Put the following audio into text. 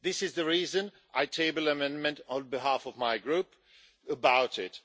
This is the reason I tabled amendment on behalf of my group about it.